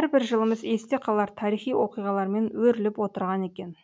әрбір жылымыз есте қалар тарихи оқиғалармен өріліп отырған екен